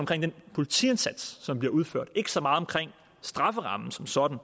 den politiindsats som bliver udført og ikke så meget om strafferammen som sådan